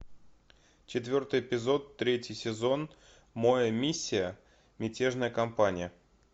четвертый эпизод третий сезон моя миссия мятежная компания